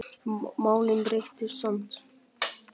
Málin breyttust samt.